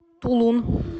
тулун